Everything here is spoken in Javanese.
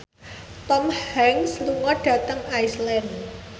Tom Hanks lunga dhateng Iceland